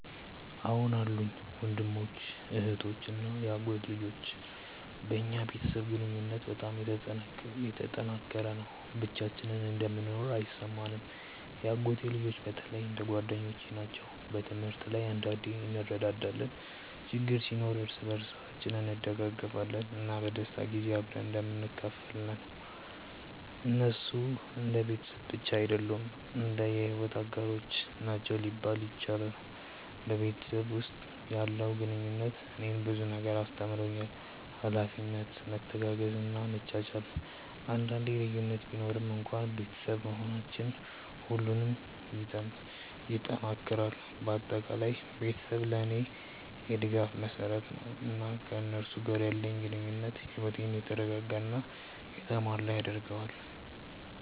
አዎን አሉኝ፤ ወንድሞች፣ እህቶች እና የአጎት ልጆች። በእኛ ቤተሰብ ግንኙነት በጣም የተጠናከረ ነው፣ ብቻችንን እንደምንኖር አይሰማንም። የአጎት ልጆቼ በተለይ እንደ ጓደኞቼ ናቸው። በትምህርት ላይ አንዳንዴ እንረዳዳለን፣ ችግር ሲኖር እርስ በርሳችን እንደግፋለን፣ እና በደስታ ጊዜ አብረን እንደምንካፈል ነው። እነሱ እንደ ቤተሰብ ብቻ አይደሉም፣ እንደ የሕይወት አጋሮች ናቸው ሊባል ይችላል። በቤተሰብ ውስጥ ያለው ግንኙነት እኔን ብዙ ነገር አስተምሮኛል፤ ኃላፊነት፣ መተጋገዝ እና መቻቻል። አንዳንዴ ልዩነት ቢኖርም እንኳን ቤተሰብ መሆናችን ሁሉንም ይጠናክራል። በአጠቃላይ ቤተሰቤ ለእኔ የድጋፍ መሰረት ነው፣ እና ከእነሱ ጋር ያለኝ ግንኙነት ሕይወቴን የተረጋጋ እና የተሞላ ያደርገዋል።